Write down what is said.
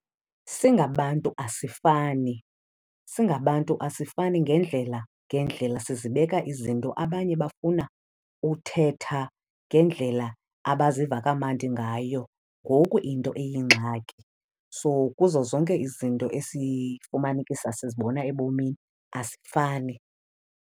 Singabantu asifani. Singabantu asifani ngeendlela ngeendlela. Sizibeka izinto, abanye bafuna uthetha ngendlela abaziva kamandi ngayo ngoku into iyingxaki. So kuzo zonke izinto esifumanekisa sizibona ebomini, asifani.